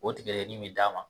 O tigadɛgɛnin bɛ d'a ma